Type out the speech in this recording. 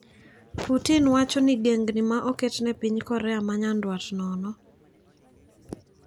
Putin wacho ni gengni ma oketne piny Korea ma nyanduat nono.